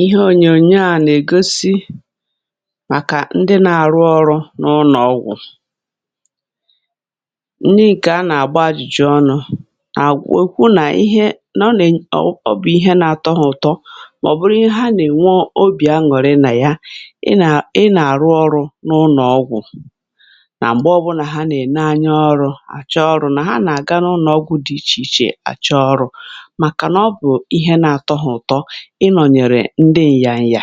ihe ònyònyo à nà-ègosi bụ̀ màkà ndị nà-àrụ ọrụ n’ụnọ̀ ọgwụ̀. n’ihi a, nà-àgba ajụ̀jụ̀ ọnụ̇, àgwà, òkwu nà ihe — nà ọ bụ̀ ihe nà-atọ hȧ ụ̀tọ, màọbụ̀ ihe ha nà-ènwe obì aṅụrị nà ya. ị nà-àrụ ọrụ n’ụnọ̀ ọgwụ̀, nà m̀gbè ọbụlà ha nà-ène anya ọrụ̇ àcha, ọrụ̇ nà ha nà-àga n’ụnọ̀ ọgwụ̀ dị ichè ichè. àcha ọrụ̇, ị nọ̀ nyèrè ndị ịyȧnyị̀, yà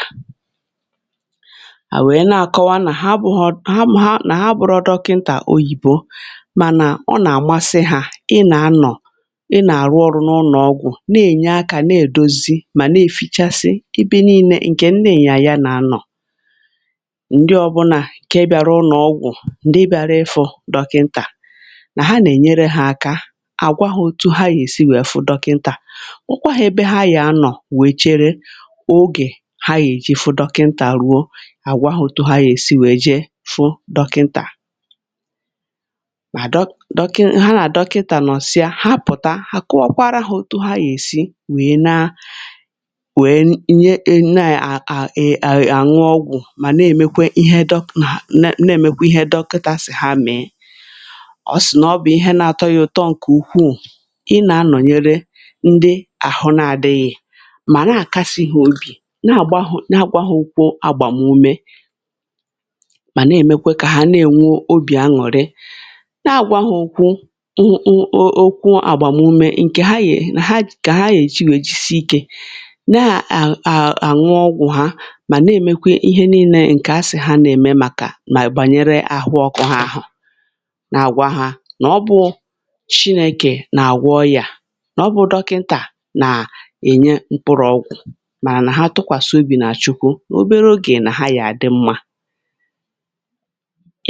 à wèe na-àkọwa nà ha bụ̇ ọ̀ nọ̀ ha, mà ha bụ̇rọ̇ dọkịntà oyibo, mànà ọ nà-àgbanwe hȧ — ị nà-anọ̀, ị nà-àrụ ọrụ n’ụnọ̀ ọgwụ̀, na-ènye akȧ, na-èdozi, mà na-èfìchasị ịbị niilė, ǹkè ị nà-ènye àya. nà-anọ̀, ndị ọbụnà ǹke bịara ụnọ̀ ọgwụ̀, ǹke bịara ịfụ̇ dọkịntà, nà ha nà-ènyere ha aka àgwaghȧ otu ha yà èsi wèe fụ dọkịntà. ogè ha gà-èji fụ dọkịntà ruo àgwà hụ̀tọọ, ha gà-èsi wèe jee fụ dọkịntà. mà dọkịntà, nà àdọkịntà, nọsịa, ha pụ̀ta, ha kọọkwaara ha otu ha gà-èsi wèe na wèe nye, nyeà à… um àṅụ ọgwụ̀, mà na-èmekwa ihe dọkịntà nà na-èmekwa ihe dọkịntà sì ha mèe. ọ sị̀ nà ọ bụ̀ ihe na-atọ ya ụ̀tọ ǹkè ukwuù, mà na-àkasịhị obì, na-àgbahụ, na-agbaghụ̀ ukwu, agbàmume, mà na-èmekwe kà ha na-ènwu obì aṅụrị, na-àgbahụ ukwu. ọọ̀, okwu agbàmume ǹkè ha yè, kà ha yè chi, wèe jisie ikė n’àhụ àhụ, ọgwụ ha. mà na-èmekwe ihe niilė, ǹkè asị̀ hȧ na-ème, màkà nà gbànyere àhụ ọkụ ha. àhụ nà-àgwa ha nà ọ bụ̇ chinėkè nà àgwọ ya, nà ọbụ̇ dọkịntà màrà nà ha tụkwàsị obì nà chukwu. n’obere ogè, nà ha yàà dị mmȧ.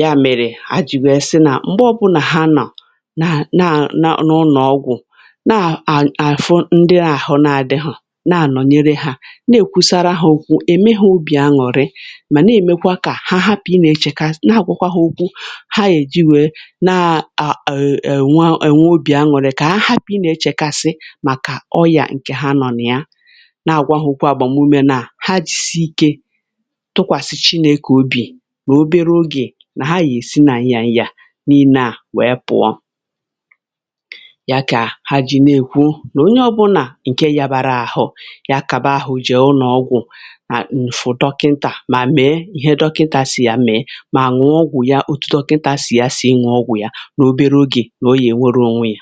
ya mèrè ha jìwèrè sị nà, m̀gbè ọbụlà ha nọ̀ n’ụnọ̀ ọgwụ̀, nà-àfụ ndị ahụ̀, nà-adịghọ̀ na-ànọ̀nyere ha, na-èkwusara ha òkwu, ème ha obì aṅụrị, mà na-èmekwa kà ha hapụ̀ ị nà-echekasị. nà-àgwakwa ha òkwu, ha èji wee na-à èwa èwa obì aṅụrị, kà ha hapụ̀ ị nà-echekasị. nà àgwà ahụ̀, kwa agbàmume, na ha jì si ike tụkwàsì chi, na-ekò obì. mà n’obere ogè, nà ha yà-èsi nà ị yà ịyà n’ìne, à wee pụ̀ọ ya. kà ha jì na-ekwu, o nà onye ọbụnà ǹke yabàra àhụ ya, kàba ahụ̀ jì ụnọ̀ ọgwụ̀, nà ǹfụ dọkịntà, mà mèe ihe dọkịntà sì yà mèe, mà nwèe ọgwụ̀ ya. ọtụtụ dọkịntà sì ya sị inwè ọgwụ̀ yà, n’obere ogè, nà o yà èwòrò ònwe yà.